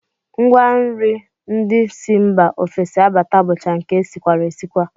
Ngwanri ndị si mba ofesi abata bụcha nke e sikwara esikwa